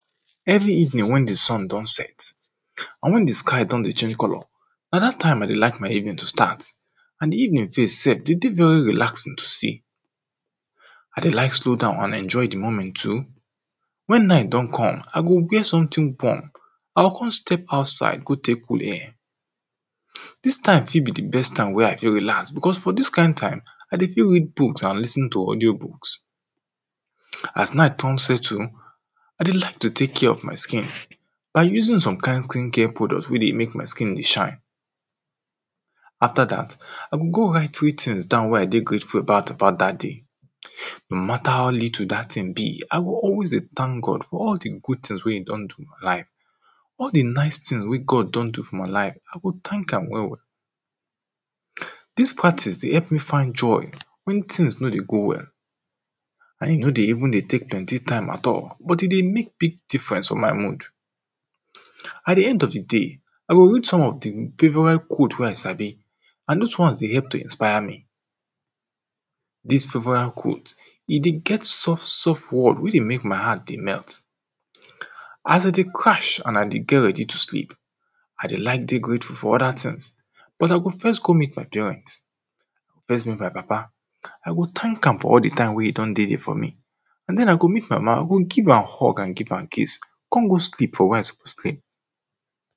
Every evening wen di sun don set and wen di sky don dey change colour na dat time I dey like my evening to start and di evening face self dey dey very relaxing to see I dey like slow down and enjoy di moment too. Wen night don come I go wear something warm I go come step outside go take cool air IDis time fit be di best time wen I fit relax, becos for dis kind time I dey fit read books and lis ten to audio books As night come settle, I dey like to take care of my skin by using some kind skin care product wey dey make my skin dey shine Aftrer dat I go come write three things down wey I dey grateful about dat day No matter how little dat thing be, I go always dey thank God for all di good things wey e don do for life all di nice thing wey God don do for my life, I go thank am well well Dis practice dey help me find joy wen things no dey go well and e no dey even dey take plenty time at all but e dey make big difference for my mood At di end of day, I go read some of di favourite quote wey I sabi and those ones dey help to inspire me Dis favourite quote, e dey get soft soft word wey dey make my heart dey melt As dem dey crash and I dey get ready to sleep I dey like dey grateful for other things, but I go first go meet my parent first meet my papa, I go thank am for all di time wey e don take dey for me and then I go meet mama I go give hug and give am kiss come go sleep for where I suppose sleep